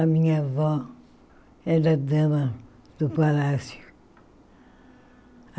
A minha avó era dama do palácio.